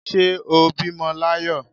Ṣé ó bímọ l'ayọ